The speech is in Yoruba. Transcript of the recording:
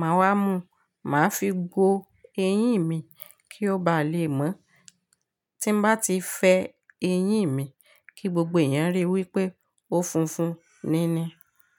màá wá mú, màá fi gbó eyín mi kí ó bá le mọ́. Tí mo bá ti fẹ́ eyín mi, kí gbogbo èèyàn ríi wípé ó funfun níní.